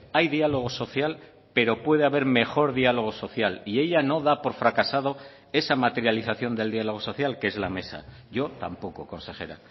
hay diálogo social pero puede haber mejor diálogo social y ella no da por fracasado esa materialización del diálogo social que es la mesa yo tampoco consejera